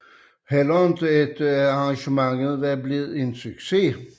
Heller ikke efter at arrangementet var blevet en succes